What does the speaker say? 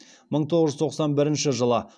мың тоғыз жүз тоқсан бірінші жылы